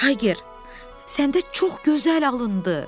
Tayger, səndə çox gözəl alındı.